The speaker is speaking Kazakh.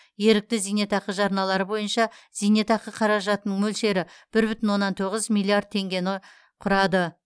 ерікті зейнетақы жарналары бойынша зейнетақы қаражатының мөлшері бір бүтін оннан тоғыз миллиард теңгені құрады